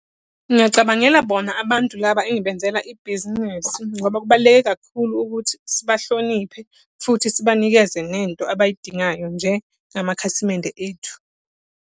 Ngingacabangela bona abantu laba engibenzela ibhizinisi, ngoba kubaluleke kakhulu ukuthi sibahlonipha futhi sibanikeze nento abayidingayo njengamakhasimende ethu.